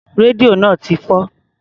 Rédíò náà ti fọ́.